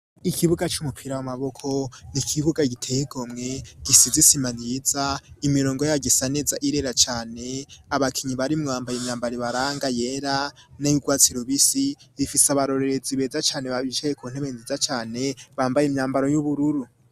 Ikibuga c'umupira w'amaboko n'ikibuga giteye igomwe gisize isima nziza imirongo yaryo isaneza irera cane abakinyi barimwo bambaye imyambaro ibaranga yera n'iyugwatsi rubisi bifise abarorerezi beza cane babicaye kuntebe nziza cane bambaye imyambaro y'ubururu.